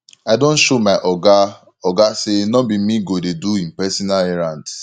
i don show my oga oga sey no be me go dey do im personal errands